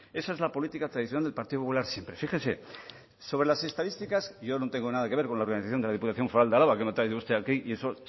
esa es la política tradicional del partido popular siempre fíjese sobre las estadísticas yo no tengo nada que ver con la organización de la diputación foral de álava que lo ha traído usted aquí y eso